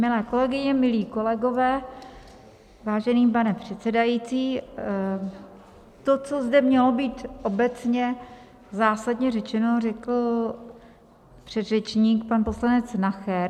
Milé kolegyně, milí kolegové, vážený pane předsedající, to, co zde mělo být obecně zásadně řečeno, řekl předřečník, pan poslanec Nacher.